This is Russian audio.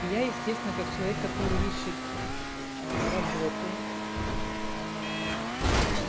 я естественно как человек который ищет работу